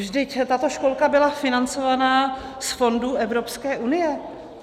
Vždyť tato školka byla financována z fondů Evropské unie.